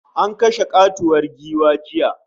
An kashe katuwar giwa jiya